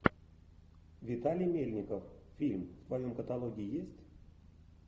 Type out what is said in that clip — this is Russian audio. виталий мельников фильм в твоем каталоге есть